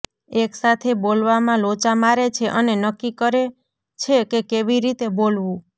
એકસાથે બોલવામાં લોચા મારે છે અને નક્કી કરે છે કે કેવી રીતે બોલવું